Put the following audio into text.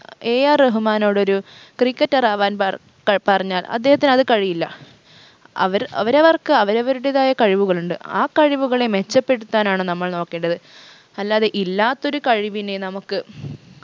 AR റഹ്മാനോടൊരു cricketer ആവാൻ പറ ഏർ പറഞ്ഞാൽ അദ്ദേഹത്തിനത് കഴിയില്ല അവർ അവരവർക്ക് അവരവരുടെതായ കഴിവുകളുണ്ട് ആ കഴിവുകളെ മെച്ചപ്പെടുത്താൻ ആണ് നമ്മൾ നോക്കേണ്ടത് അല്ലാതെ ഇല്ലാത്തൊരു കഴിവിനെ നമക്ക്